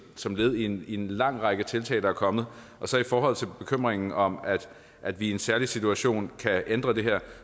som led i en lang række tiltag der er kommet i forhold til bekymringen om at vi i en særlig situation kan ændre det her